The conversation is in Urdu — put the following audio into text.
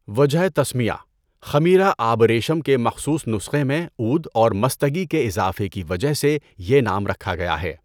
وجہ تسمیہ: خمیرہ آبریشم کے مخصوص نسخہ میں عود اور مصطگی کے اِضافہ کی وجہ سے یہ نام رکھا گیا ہے۔